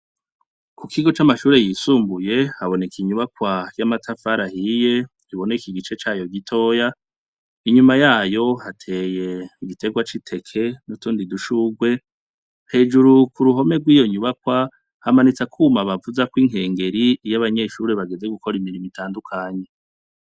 C'amashure yisumbuye haboneka inyubakwa y'amatafari ahiye, iboneka igice cayo gitoya, inyuma yayo hateye igiterwa c'iteke n'utundi dushurwe ,hejuru k'uruhome rw'iyo nyubakwa, hamanitse akuma bavuzako inkengeri iy'abanyeshure bageze gukor'imirimo itandukanye.